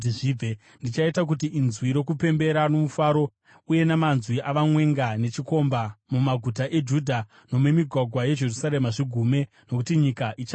Ndichaita kuti inzwi rokupembera nomufaro uye namanzwi omwenga nechikomba mumaguta eJudha nomumigwagwa yeJerusarema zvigume nokuti nyika ichava dongo.